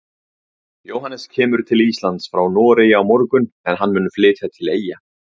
Jóhannes kemur til Íslands frá Noregi á morgun en hann mun flytja til Eyja.